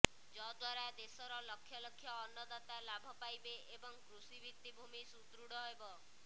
ଯଦ୍ୱାରା ଦେଶର ଲକ୍ଷ ଲକ୍ଷ ଅନ୍ନଦାତା ଲାଭ ପାଇବେ ଏବଂ କୃଷି ଭିତିଭୂମି ସୁଦୃଢ ହେବ